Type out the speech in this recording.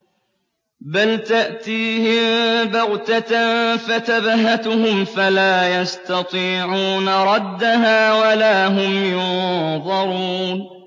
بَلْ تَأْتِيهِم بَغْتَةً فَتَبْهَتُهُمْ فَلَا يَسْتَطِيعُونَ رَدَّهَا وَلَا هُمْ يُنظَرُونَ